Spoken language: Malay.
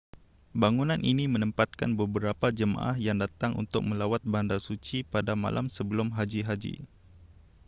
bangunan ini menempatkan beberapa jemaah yang datang untuk melawat bandar suci pada malam sebelum haji haji